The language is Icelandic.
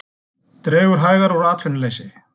Dregur hægar úr atvinnuleysi